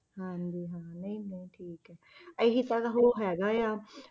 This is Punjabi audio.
ਹਾਂਜੀ ਹਾਂ ਨਹੀਂ ਨਹੀਂ ਠੀਕ ਹੈ ਇਹੀ ਤਾਂ ਇਹਦਾ ਉਹ ਹੈਗਾ ਆ